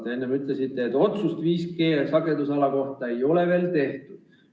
Te enne ütlesite, et otsust 5G-sagedusala kohta ei ole veel tehtud.